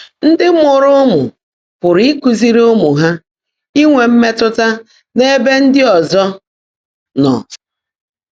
Ndị́ mụ́ụ́rụ́ ụ́mụ́ pụ́rụ́ ị́kụ́zị́rí ụ́mụ́ há ínwé mmétụ́tá n’ébè ndị́ ọ́zọ́ nọ́